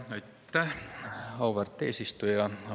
Aitäh, auväärt eesistuja!